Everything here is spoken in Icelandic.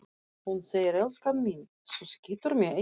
Hún segir: Elskan mín, þú skýtur mig ekki